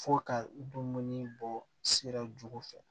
Fo ka dumuni bɔ sira ju fɛ